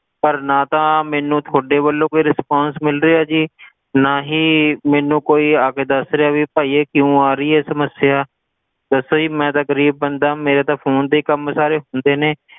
ਪਰ ਨਾ ਤਾਂ ਮੈਨੂੰ ਤੁਹਾਡੇ ਵੱਲੋਂ ਕੋਈ Responce ਮਿਲ ਰਿਹਾ ਜੀ ਨਾ ਹੀ ਮੈਨੂੰ ਕੋਈ ਆਕੇ ਦਸ ਰਿਹਾ ਵੀ ਭਾਈ ਇਹ ਕਿਉਂ ਆ ਰਹੀ ਹੈ ਸਮੱਸਿਆ, ਦੱਸੋ ਜੀ ਮੈਂ ਤਾਂ ਗਰੀਬ ਬੰਦਾ ਮੇਰੇ ਤਾਂ phone ਤੇ ਹੀ ਕੰਮ ਸਾਰੇ ਹੁੰਦੇ ਨੇ,